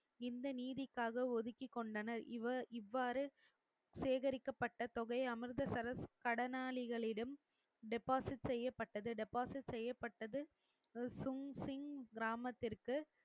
இந்த நீதிக்காக ஒதுக்கிக் கொண்டனர் இவர் இவ்வாறு சேகரிக்கப்பட்ட தொகை அமிர்தசரஸ் கடனாளிகளிடம் deposit செய்யப்பட்டது deposit செய்யப்பட்டது சுங் சிங் கிராமத்திற்கு